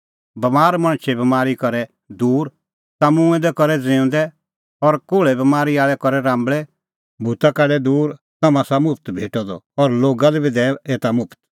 बमार मणछे बमारी करै दूर ता मूंऐं दै करै ज़िऊंदै और कोल़्हे बमारी आल़ै करै राम्बल़ै भूत काढै दूर तम्हां आसा मुफ्त भेटअ द और लोगा लै बी दैऐ एता मुफ्त